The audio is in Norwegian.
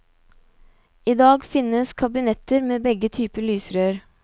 I dag finnes kabinetter med begge typer lysrør.